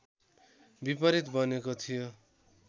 विपरीत बनेको थियो